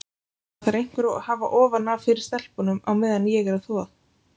Það þarf einhver að hafa ofan af fyrir stelpunum á meðan ég er að þvo.